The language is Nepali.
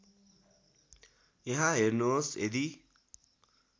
यहाँ हेर्नुहोस् यदी